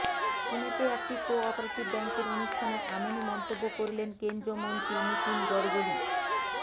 পুনেতে একটি কোঅপারেটিভ ব্যাঙ্কের অনুষ্ঠানে এমনই মন্তব্য করলেন কেন্দ্রীয় মন্ত্রী নীতিন গড়করি